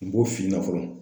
U bo fiɲɛnɛ fɔlɔ.